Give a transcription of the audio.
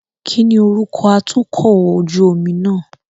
Kíni orúkọ atukọ̀ ojú omi náà?